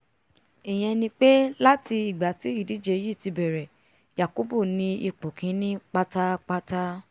ìyẹn ni pé láti ìgbà tí ìdíje yìí ti bẹ̀rẹ̀ yakubu ni ipò kíní pátápátá